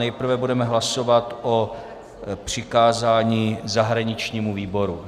Nejprve budeme hlasovat o přikázání zahraničnímu výboru.